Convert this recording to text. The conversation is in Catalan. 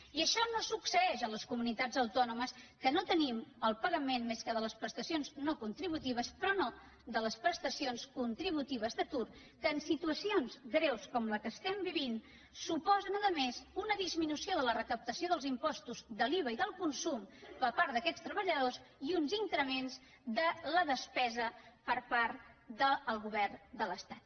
i això no succeeix a les comunitats autònomes que no tenim el pagament més que de les prestacions no contributives però no de les prestacions contributives d’atur que en situacions greus com la que estem vivint suposen a més una disminució de la recaptació dels impostos de l’iva i del consum per part d’aquests treballadors i uns increments de la despesa per part del govern de l’estat